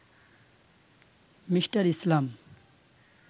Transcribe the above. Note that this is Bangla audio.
মি. ইসলাম